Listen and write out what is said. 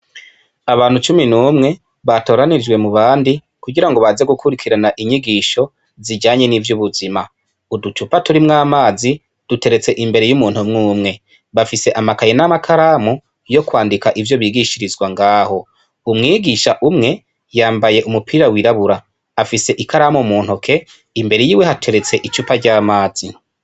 Abantu cumi n'umwe batoranijwe mubandi kugirango baze gukurikirana inyigisho zijanye n'ivyubuzima, uducupa turimwo amazi duteretse imbere y'umuntu umwe umwe bafise amakaye n'amakaramu yo kwandika ivyo bigishirizwa ngaho, umwigisha umwe yambaye umupira wirabura afise ikaramu mu ntoke imbere hateretse icupa ry'amazi.